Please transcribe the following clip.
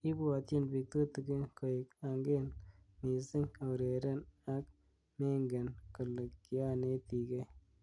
Kibwotyin bik tutikin koek angen missing aureren ak mengen. kole kianetikei.